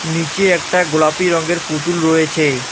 নীচে একটা গোলাপি রঙ্গের পুতুল রয়েছে।